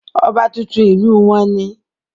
ọba tuntun ìlú wọn ni